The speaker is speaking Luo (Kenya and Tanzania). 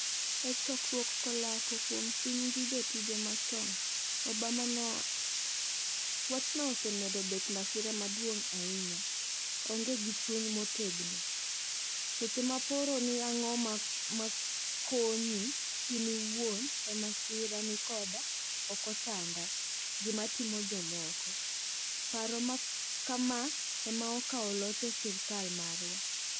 e chokruok kolako kuom sim gi jotije machon, Obama nowacho, wachno osemedo bet masira maduong ahinya aonge gi chung motegno. seche ma paro ni ang'o ma konyi in iwuon e masira ni koda okochanda gima timo jomoko. paro ma kama ema okao loch e sirikal marwa.